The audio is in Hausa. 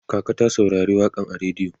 kaka ta saurari waƙan a rediyo